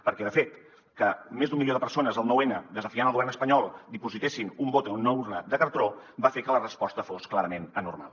perquè de fet que més d’un milió de persones el nou n desafiant el govern espanyol dipositessin un vot en una urna de cartró va fer que la resposta fos clarament anormal